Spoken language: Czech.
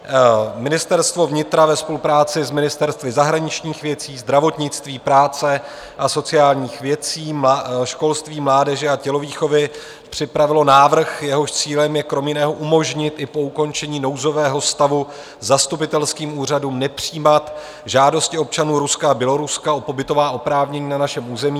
Ministerstvo vnitra ve spolupráci s ministerstvy zahraničních věcí, zdravotnictví, práce a sociálních věcí, školství, mládeže a tělovýchovy připravilo návrh, jehož cílem je kromě jiného umožnit i po ukončení nouzového stavu zastupitelským úřadům nepřijímat žádosti občanů Ruska a Běloruska o pobytová oprávnění na našem území.